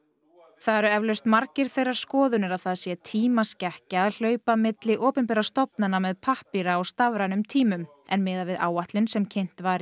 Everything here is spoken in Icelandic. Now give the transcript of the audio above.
það eru eflaust margir þeirrar skoðunar að það sé tímaskekkja að hlaupa milli opinberra stofnana með pappíra á stafrænum tímum en miðað við áætlun sem kynnt var